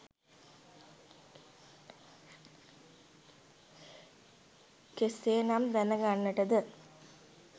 කෙසේනම් දැනගන්ට ද?